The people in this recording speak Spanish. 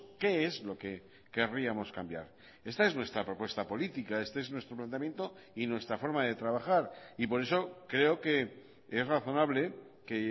qué es lo que querríamos cambiar esta es nuestra propuesta política este es nuestro planteamiento y nuestra forma de trabajar y por eso creo que es razonable que